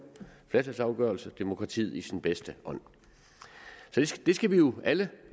flertalsafgørelse demokratiet i sin bedste ånd vi skal jo alle